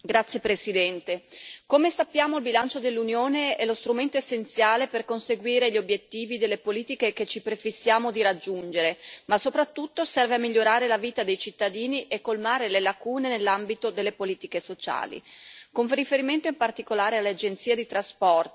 Signor Presidente, onorevoli colleghi, come sappiamo il bilancio dell'Unione è lo strumento essenziale per conseguire gli obiettivi delle politiche che ci prefissiamo di raggiungere, ma soprattutto serve a migliorare la vita dei cittadini e colmare le lacune nell'ambito delle politiche sociali.